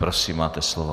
Prosím, máte slovo.